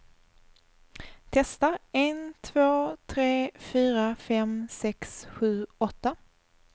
Testar en två tre fyra fem sex sju åtta.